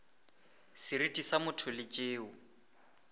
seriti sa motho le tšeo